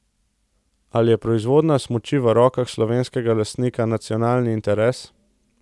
Ali je proizvodnja smuči v rokah slovenskega lastnika nacionalni interes?